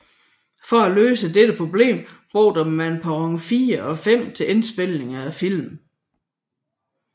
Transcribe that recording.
For at løse dette problem brugte man perron 4 og 5 til indspilningen af filmene